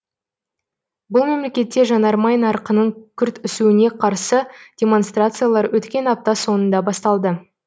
бұл мемлекетте жанармай нарқының күрт өсуіне қарсы демонстрациялар өткен апта соңында басталды